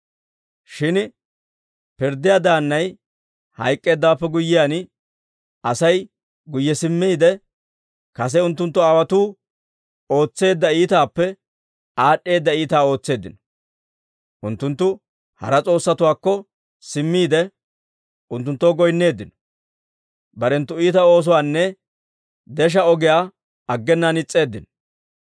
Shin pirddiyaa daannay hayk'k'eeddawaappe guyyiyaan, Asay guyye simmiide, kase unttunttu aawotuu ootseedda iitaappe aad'd'eedda iitaa ootseeddino; unttunttu hara s'oossatuwaakko simmiide, unttunttoo goynneeddino; barenttu iita oosuwaanne desha ogiyaa aggenaan is's'eeddino.